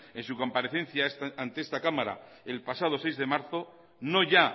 en su comparecencia ante esta cámara el pasado seis de marzo no ya